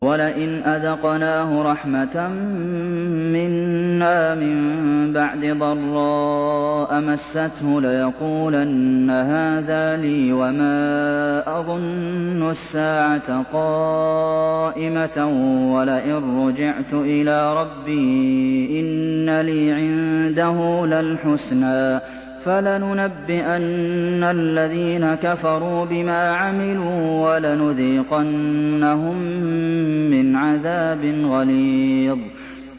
وَلَئِنْ أَذَقْنَاهُ رَحْمَةً مِّنَّا مِن بَعْدِ ضَرَّاءَ مَسَّتْهُ لَيَقُولَنَّ هَٰذَا لِي وَمَا أَظُنُّ السَّاعَةَ قَائِمَةً وَلَئِن رُّجِعْتُ إِلَىٰ رَبِّي إِنَّ لِي عِندَهُ لَلْحُسْنَىٰ ۚ فَلَنُنَبِّئَنَّ الَّذِينَ كَفَرُوا بِمَا عَمِلُوا وَلَنُذِيقَنَّهُم مِّنْ عَذَابٍ غَلِيظٍ